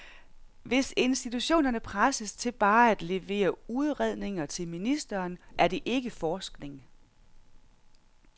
Hvis institutionerne presses til bare at levere udredninger til ministeren, er det ikke forskning.